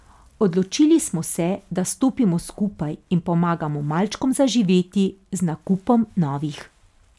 Odločili smo se, da stopimo skupaj in pomagamo malčkom zaživeti z nakupom novih.